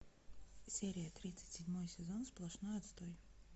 серия тридцать седьмой сезон сплошной отстой